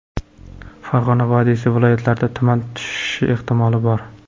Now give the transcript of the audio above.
Farg‘ona vodiysi viloyatlarida tuman tushishi ehtimoli bor.